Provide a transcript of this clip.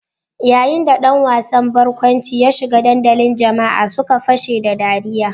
Yayin da ɗan wasan barkwanci ya shiga dandalin jama'a suka fashe da ɗariya.